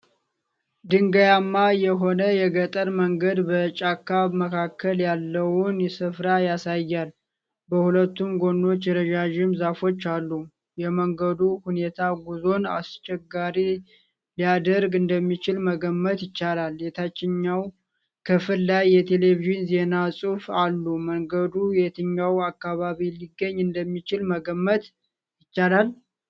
ድንጋያማ የሆነ የገጠር መንገድ በጫካ መካከል ያለውን ስፍራ ያሳያል። በሁለቱም ጎኖቹ ረዣዥም ዛፎች አሉ። የመንገዱ ሁኔታ ጉዞን አስቸጋሪ ሊያደርግ እንደሚችል መገመት ይቻላል። የታችኛው ክፍል ላይ የቴሌቪዥን ዜና ጽሁፎች አሉ። መንገዱ የትኛው አካባቢ ሊገኝ እንደሚችል መገመት ይቻላል?